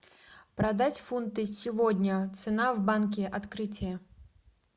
продать фунты сегодня цена в банке открытие